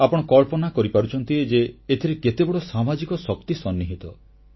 ଆପଣ କଳ୍ପନା କରିପାରୁଛନ୍ତି ଯେ ଏଥିରେ କେତେବଡ଼ ସାମାଜିକ ଶକ୍ତି ସନ୍ନିହିତ